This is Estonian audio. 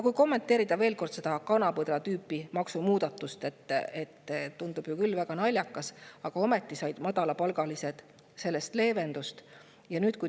Kui kommenteerida veel kord seda kana-põder-tüüpi maksumuudatust – see tundub küll väga naljakas, aga ometi said madalapalgalised sellest leevendust.